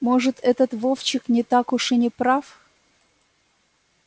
может этот вовчик не так уж и не прав